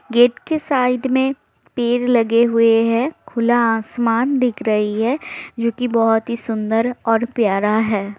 Gate के side में पेड़ लगे हुए है खुला आसमान दिख रही है जो की बहुत ही सुन्दर और प्यारा है।